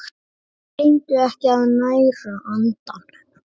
Gleymdu ekki að næra andann!